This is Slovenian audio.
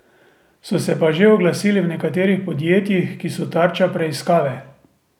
So se pa že oglasili v nekaterih podjetjih, ki so tarča preiskave.